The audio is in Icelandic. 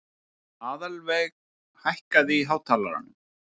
Aðalveig, hækkaðu í hátalaranum.